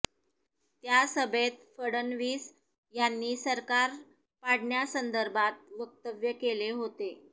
त्या सभेत फडणवीस यांनी सरकार पाडण्यासंदर्भात वक्तव्य केले होते